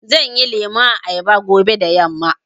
Zanyi lemun ayaba fobe da yamma.